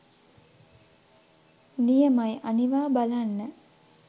නියමයි අනිවා බලන්න